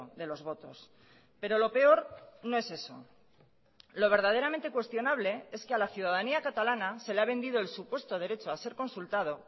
de los votos pero lo peor no es eso lo verdaderamente cuestionable es que a la ciudadanía catalana se le ha vendido el supuesto derecho a ser consultado